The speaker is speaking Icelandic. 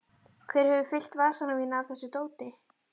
Hver hefur fyllt vasana mína af þessu dóti?